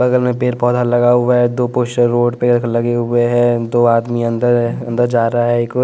बगल में पेड़ पौधा लगा हुआ है दो पोस्टर रोड पे लगे हुए हैं दो आदमी अंदर अंदर जा रहा है एक और--